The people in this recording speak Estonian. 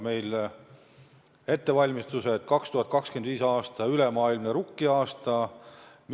Meil algavad ettevalmistused 2025. aastaks, mis peaks olema ülemaailmne rukkiaasta.